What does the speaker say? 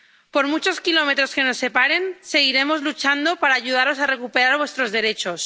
Por muchos kilómetros que nos separen, seguiremos luchando para ayudaros a recuperar vuestros derechos